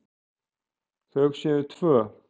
Þau séu tvö.